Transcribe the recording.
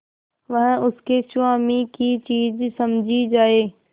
वह उसके स्वामी की चीज समझी जाए